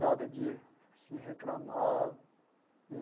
Nada de assim reclamar.